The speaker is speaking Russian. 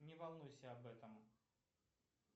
не волнуйся об этом